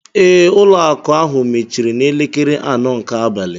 Ee, ụlọ akụ ahụ mechiri n'elekere anọ nke abalị